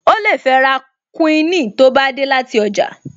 O lè fẹ́ ra kúíìnì tó bá dé láti ọjà